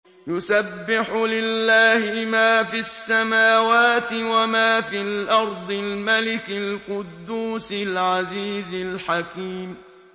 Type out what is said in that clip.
يُسَبِّحُ لِلَّهِ مَا فِي السَّمَاوَاتِ وَمَا فِي الْأَرْضِ الْمَلِكِ الْقُدُّوسِ الْعَزِيزِ الْحَكِيمِ